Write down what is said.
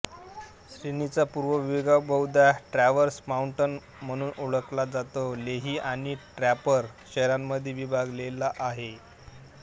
श्रेणीचा पूर्व विभाग बहुधा ट्रॅव्हर्स माउंटन म्हणून ओळखला जातो लेही आणि ड्रॅपर शहरांमध्ये विभागलेला आहे